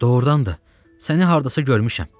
Doğrudan da, səni hardasa görmüşəm.